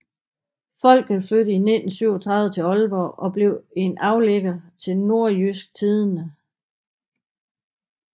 Folket flyttede i 1937 til Ålborg og blev en aflægger til Nordjysk Tidende